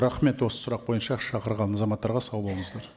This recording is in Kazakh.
рахмет осы сұрақ бойынша шақырылған азаматтарға сау болыңыздар